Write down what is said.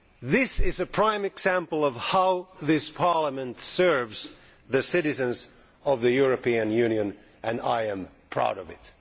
This is a prime example of how this Parliament serves the citizens of the European Union and I am proud of it.